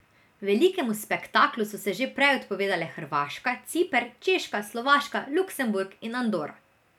Velikemu spektaklu so se že prej odpovedale Hrvaška, Ciper, Češka, Slovaška, Luksemburg in Andora.